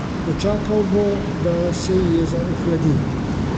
Počakal bo, da se ji jeza ohladi.